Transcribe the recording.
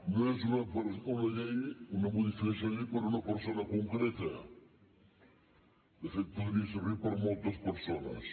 no és una modificació de llei per una persona concreta de fet podria servir per moltes persones